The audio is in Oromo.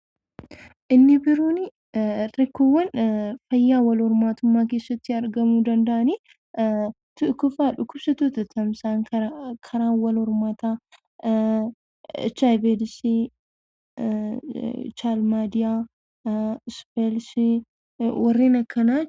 Inni biroon rakkoowwan fayyaa wal hormaata keessatti argamuu danda'ani. Tokkoffaa dhukkubsattoota tamsa'an karaa wal hormaataa, HIV eedisii, chaalmaadiyaa, ispheelshii warreen akkanaa.